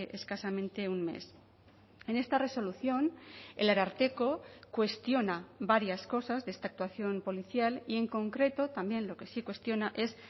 escasamente un mes en esta resolución el ararteko cuestiona varias cosas de esta actuación policial y en concreto también lo que sí cuestiona es